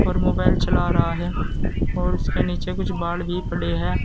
पर मोबाइल चला रहा है और उसके नीचे कुछ बाल भी पड़े हैं।